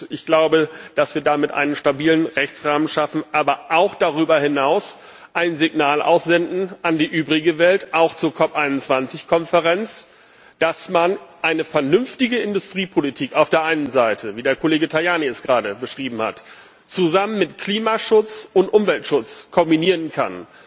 Ich glaube, dass wir damit einen stabilen Rechtsrahmen schaffen, aber darüber hinaus auch ein Signal an die übrige Welt aussenden, auch an die COP21 Konferenz Dass man eine vernünftige Industriepolitik auf der einen Seite, wie der Kollege Tajani es gerade beschrieben hat, mit Klimaschutz und Umweltschutz kombinieren kann,